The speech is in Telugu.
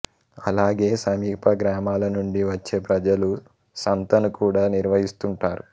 అలాగే సమీప గ్రామాల నుండి వచ్చే ప్రజలు సంతను కూడా నిర్వహిస్తుంటారు